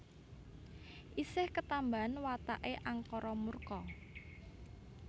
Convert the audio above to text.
Isih ketambahan watake angkara murka